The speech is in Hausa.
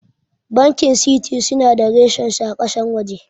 Bankin Citi suna da ressan su a ƙasar waje